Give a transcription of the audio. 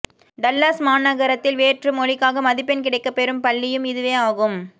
Dallas மாநகரத்தில் வேற்று மொழிக்காக மதிப்பெண் கிடைக்கப் பெறும் பள்ளியும் இதுவே ஆகும்